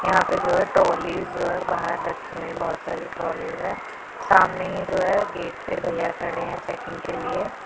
यहां पे जो है ट्रॉलीज जो है बाहर रखी हुई है बहुत सारे ट्रॉलीज है सामने जो है गेट पे भैया खड़े हैं चेकिंग के लिए।